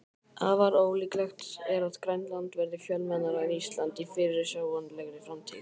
Afar ólíklegt er að Grænland verði fjölmennara en Ísland í fyrirsjáanlegri framtíð.